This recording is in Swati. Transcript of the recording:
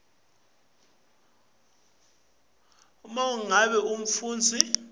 uma ngabe umfundzi